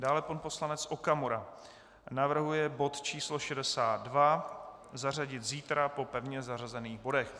Dále pan poslanec Okamura navrhuje bod číslo 62 zařadit zítra po pevně zařazených bodech.